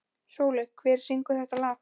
Sóli, hver syngur þetta lag?